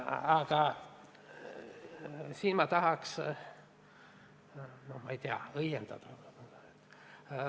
Aga ma tahan siin üht-teist õiendada.